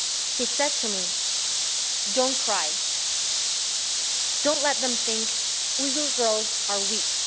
He said to me, Don't cry, don't let them think Uyghur girls are weak.'